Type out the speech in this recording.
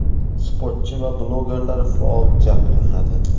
sportchi va blogerlar faol jalb qilinadi.